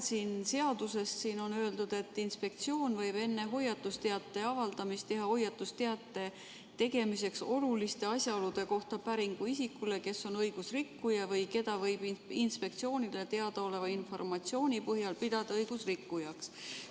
Siin seaduses on öeldud, et inspektsioon võib enne hoiatusteate avaldamist teha hoiatusteate tegemiseks oluliste asjaolude kohta päringu isikule, kes on õigusrikkuja või keda võib inspektsioonile teadaoleva informatsiooni põhjal pidada õigusrikkujaks.